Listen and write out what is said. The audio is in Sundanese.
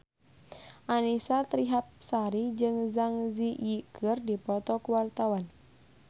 Annisa Trihapsari jeung Zang Zi Yi keur dipoto ku wartawan